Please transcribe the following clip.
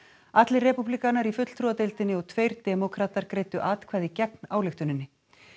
allir repúblikanar í fulltrúadeildinni og tveir demókratar greiddu atkvæði gegn ályktuninni